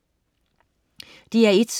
DR1: